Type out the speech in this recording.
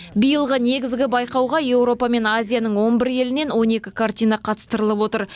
биылғы негізгі байқауға еуропа мен азияның он бір елінен он екі картина қатыстырылып отыр